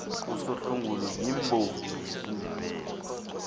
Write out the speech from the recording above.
usohlungulu yimbongi yesindebele